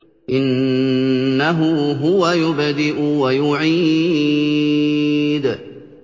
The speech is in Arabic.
إِنَّهُ هُوَ يُبْدِئُ وَيُعِيدُ